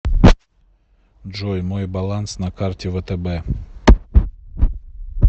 джой мой баланс на карте втб